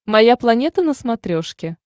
моя планета на смотрешке